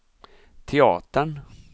teatern